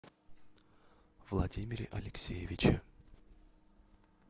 владимире алексеевиче